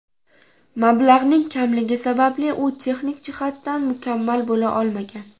Mablag‘ning kamligi sababli u texnik jihatdan mukammal bo‘la olmagan.